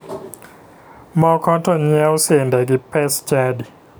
Moko to nyiewo sende gi pes chadi.